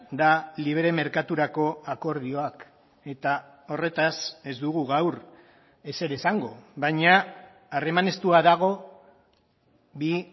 da libre merkaturako akordioak eta horretaz ez dugu gaur ezer esango baina harreman estua dago bi